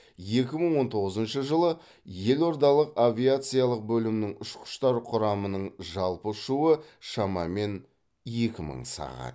екі мың он тоғызыншы жылы елордалық авиациялық бөлімнің ұшқыштар құрамының жалпы ұшуы шамамен екі мың сағат